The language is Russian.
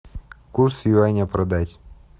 курс юаня продать